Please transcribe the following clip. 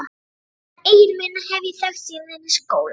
Hann Egil minn hef ég þekkt síðan í skóla.